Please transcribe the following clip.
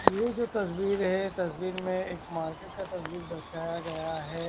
ये जो तस्वीर है तस्वीर मे एक मार्केट का तस्वीर दर्शाया गया है।